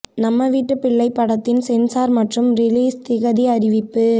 நம்ம வீட்டுப் பிள்ளை படத்தின் சென்சார் மற்றும் ரிலீஸ் திகதி அறிவிப்பு